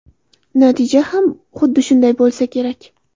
Natija ham xuddi shunday bo‘lsa kerak.